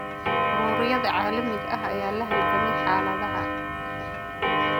Ururada caalamiga ah ayaa la halgamay xaaladda.